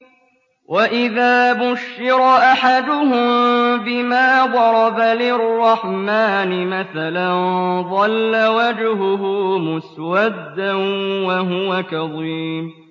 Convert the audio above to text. وَإِذَا بُشِّرَ أَحَدُهُم بِمَا ضَرَبَ لِلرَّحْمَٰنِ مَثَلًا ظَلَّ وَجْهُهُ مُسْوَدًّا وَهُوَ كَظِيمٌ